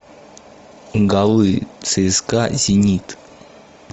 голы цска зенит